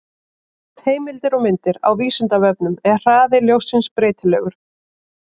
Heimildir og myndir: Á Vísindavefnum: Er hraði ljóssins breytilegur?